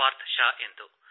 ಪಾರ್ಥ್ ಷಾ ಎಂದು